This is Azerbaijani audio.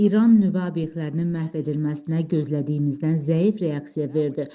İran nüvə obyektlərinin məhv edilməsinə gözlədiyimizdən zəif reaksiya verdi.